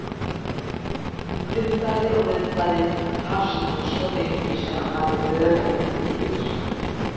Nuddaði og nuddaði, fast og svo lengi sem hann hafði örendi til.